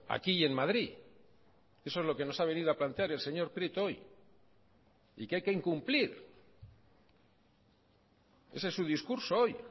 aquí y en madrid eso es lo que nos ha venido a plantear el señor prieto hoy y que hay que incumplir ese es su discurso hoy